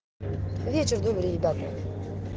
вечер добрый ребята